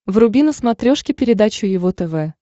вруби на смотрешке передачу его тв